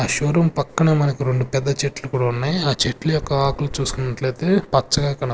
ఆ showroom పక్కన మనకు రెండు పెద్ద చెట్లు కూడా ఉన్నాయి ఆ చెట్లు యొక్క ఆకులు చూసుకున్నట్లైతే పచ్చగా కన--